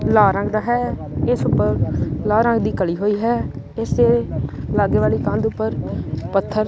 ਲਾਲ ਰੰਗ ਦਾ ਹੈ ਇਸ ਉੱਪਰ ਲਾਲ ਰੰਗ ਦੀ ਕਲੀ ਹੋਈ ਹੈ ਇਸ ਦੇ ਲਾਗੇ ਵਾਲੀ ਕੰਧ ਉੱਪਰ ਪੱਥਰ।